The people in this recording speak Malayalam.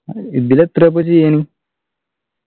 ഇതിലെത്ര ഇപ്പൊ ചെയ്യാന്